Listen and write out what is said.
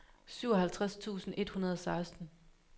syvoghalvtreds tusind et hundrede og seksten